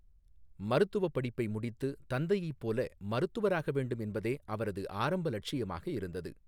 மருத்துவப் படிப்பை முடித்து, தந்தையைப் போல மருத்துவராக வேண்டும் என்பதே அவரது ஆரம்ப லட்சியமாக இருந்தது.